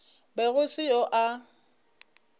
be go se yo a